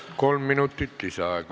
Kolm minutit lisaaega.